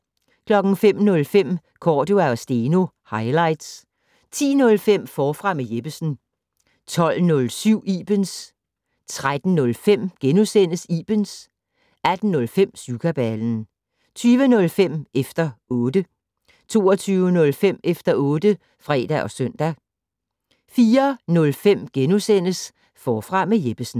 05:05: Cordua & Steno - highlights 10:05: Forfra med Jeppesen 12:07: Ibens * 13:05: Ibens * 18:05: Syvkabalen 20:05: Efter 0tte 22:05: Efter otte (fre og søn) 04:05: Forfra med Jeppesen *